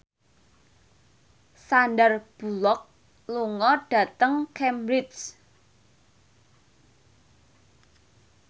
Sandar Bullock lunga dhateng Cambridge